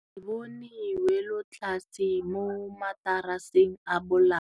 Re bone wêlôtlasê mo mataraseng a bolaô.